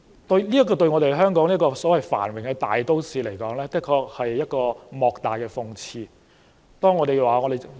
對香港這個繁榮的大都市而言，的確是莫大的諷刺。